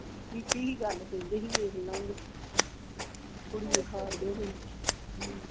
ਕੀਤੀ ਹੀ ਗੱਲ ਕਹਿੰਦੇ ਹੀ ਵੇਖਲਾਂਗੇ ਅੱਛਾ ਅੱਛਾ ਕੁੜੀ ਵਖਾਣ ਦੇ ਹੀ ਹਮ